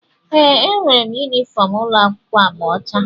ee, enwere m yunifọm ụlọ akwụkwọ agba ọcha